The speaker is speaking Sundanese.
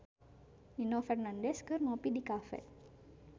Nino Fernandez kungsi ngopi di cafe